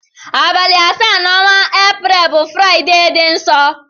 Abali asa na ọnwa april bu friday di nsọ.